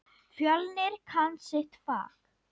Fjölnir kann sitt fag.